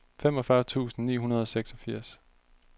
femogfyrre tusind ni hundrede og seksogfirs